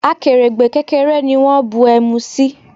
Akèrègbè kékeré ni wón bu ẹmu sí.